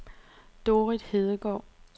Dorrit Hedegaard